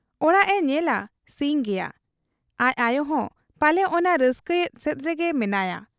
ᱚᱲᱟᱜ ᱮ ᱧᱮᱞᱟ ᱥᱤᱧ ᱜᱮᱭᱟ ᱾ ᱟᱟᱡ ᱟᱭᱚᱦᱚᱸ ᱯᱟᱞᱮ ᱚᱱᱟ ᱨᱟᱹᱥᱠᱟᱹᱭᱮᱫ ᱥᱮᱫᱨᱮ ᱜᱮ ᱢᱮᱱᱟᱭᱟ ᱾